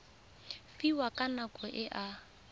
fiwang ka nako e a